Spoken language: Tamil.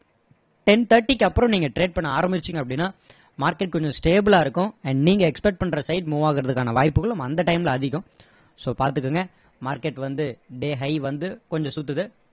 ten thirty க்கு அப்பறம் நீங்க trade பண்ண ஆரம்பிச்சிங்க அப்படின்னா market கொஞ்சம் stable லா இருக்கும் and நீங்க expect பண்ற site move ஆகுறதுக்கான வாய்ப்புகளும் அந்த time ல அதிகம் so பார்த்துகோங்க market வந்து day high வந்து கொஞ்சம் சுத்துது